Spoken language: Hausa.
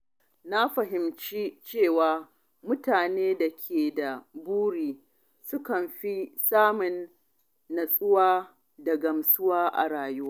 Na fahimci cewa mutane da ke da buri sukan fi samun natsuwa da gamsuwa a rayuwa.